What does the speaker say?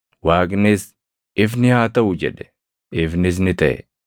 Waaqnis, “Ifni haa taʼu” jedhe; ifnis ni taʼe.